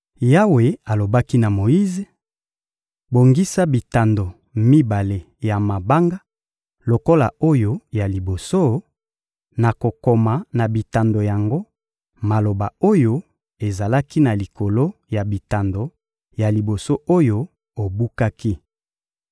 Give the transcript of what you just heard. Yawe alobaki na Moyize: — Bongisa bitando mibale ya mabanga lokola oyo ya liboso; nakokoma na bitando yango maloba oyo ezalaki na likolo ya bitando ya liboso oyo obukaki.